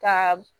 Ka